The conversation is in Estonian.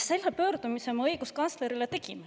Selle pöördumise ma õiguskantslerile tegin.